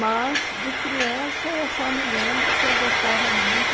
Mas, de criança, eu só me lembro que eu gostava muito